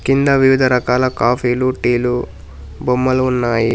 కింద వివిధ రకాల కాఫీలు టీలు బొమ్మలు ఉన్నాయి.